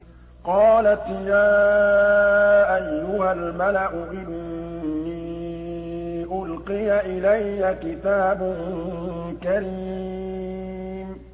قَالَتْ يَا أَيُّهَا الْمَلَأُ إِنِّي أُلْقِيَ إِلَيَّ كِتَابٌ كَرِيمٌ